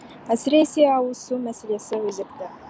әсіресе ауыз су мәселесі өзекті